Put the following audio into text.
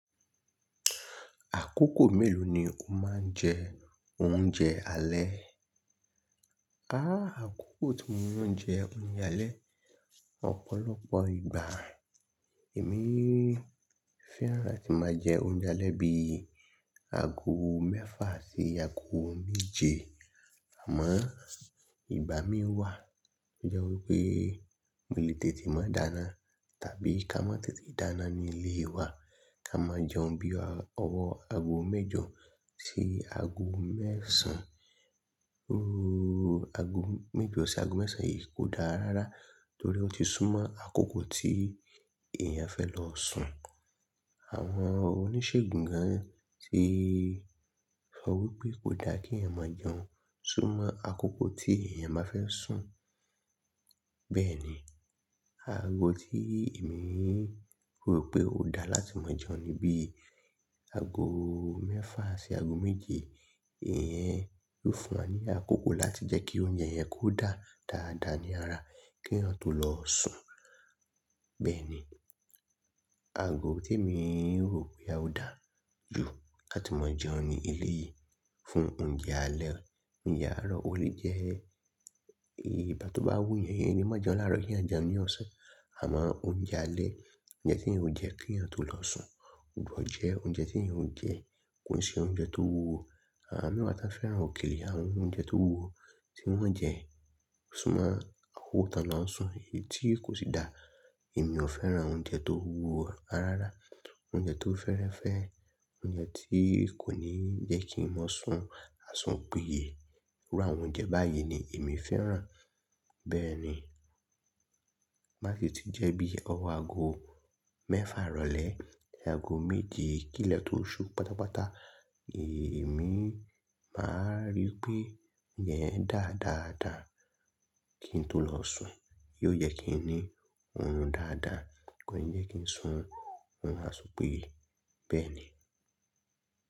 Àkókò mélòó ni o máa ń jẹ oúnjẹ alẹ́? Háà, àkókò tí mo máa ń jẹ oúnjẹ alẹ́, ọ̀pọ̀lọpọ̀ ìgbà èmi fẹ́ràn tí máa jẹ oúnjẹ alẹ́ bíi ago mẹ́fà sí ago méje. Àmọ́ ìgbà mìíràn wà tí ó jẹ́ wípé mo lè tètè máa dáná tàbí ká má tètè dáná ní ilé wa, ká máa jẹun bí i ọwọ́ ago mẹ́jọ sí ago mẹ́sàn án. Óòò, ago mẹ́jọ sí ago mẹ́sàn án yìí kò dáa rárá torí ó ti súnmọ́ àkókò tí èèyàn fẹ́ lọ sùn. Àwọn oníṣègùn gan tíí sọ wípé kò dá kí ẹ̀yàn máa jẹun súnmọ́ àkókò tí èèyàn bá fẹ́ sùn. Bẹ́ẹ̀ ni, ago tí èmi rò pé ó dáa láti máa jẹun ni bí i ago mẹ́fà sí ago méje. Ìyẹn yóò fún wa ní àkókò láti jẹ́ kí oúnjẹ yẹn kó dáa dáadáa ní ara kí èèyàn tó lọ sùn. Bẹ́ẹ̀ ni, ago tí èmi rò pé a ó dáa jù láti máa jẹun ní ilé yìí fún oúnjẹ alẹ́. Oúnjẹ àárọ̀, o lè jẹ ìbà tó bá wú yẹn, yẹn ni má jẹun láàárọ̀, yẹn jẹun ní ọ̀sán. Àmọ́ oúnjẹ alẹ́, óúnjẹ tí èèyàn ó jẹ kí èèyàn tó lọ sùn. Ògbòjẹ́, oúnjẹ tí èèyàn ó jẹ kò si oúnjẹ tó wúwo. Àwa mẹ́wàá tí a fẹ́ràn òkèlè, àwọn oúnjẹ tó wúwo tí wọ́n jẹ súnmọ́ àwo tàn náà ń sùn, èyí tí kò sì dáa. Èmi ò fẹ́ràn oúnjẹ tó wúwo rárá. Oúnjẹ tó fẹ́rẹ́fẹ́, oúnjẹ tí kò ní ń jẹ́ kí n máa sùn àsùn pèé. Irú àwọn oúnjẹ báyìí ni èmi fẹ́ràn. Bẹ́ẹ̀ ni, máṣe ti jẹ́ bí i ọwọ́ ago mẹ́fà ìrọ̀lẹ́ sí ago méje kí ilẹ̀ tó ṣú pátápátá. Èmi máa rí pé óúnjẹ yen dáadáa kí n tó lọ sùn. Yóò yẹ kí n ní oorun dáadáa, kò yẹ kí n sùn oorun àsùn pèé, bẹ́ẹ̀ ni.